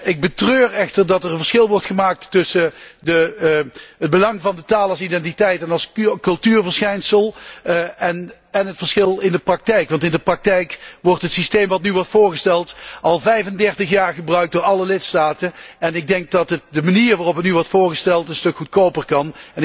Ik betreur echter dat er een verschil wordt gemaakt tussen het belang van de taal als identiteit en als cultuurverschijnsel en het verschil in de praktijk. Want in de praktijk wordt het systeem dat nu wordt voorgesteld als 35 jaar gebruikt door alle lidstaten, en ik denk dat de manier waarop het nu wordt voorgesteld een stuk goedkoper kan.